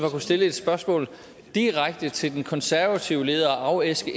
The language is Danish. at kunne stille et spørgsmål direkte til den konservative leder og afæske